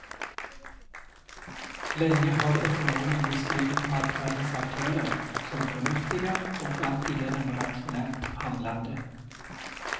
Länge har ekonomer beskrivit marknadens aktörer som förnuftiga och alltigenom rationellt handlande.